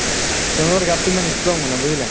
তেওঁলোকৰ গাতো ইমান ই strong মানে বুজিলা